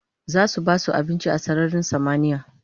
zasu basu abinci a sararin samaniya